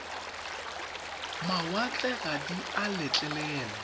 mawatle ga di a letlelelwa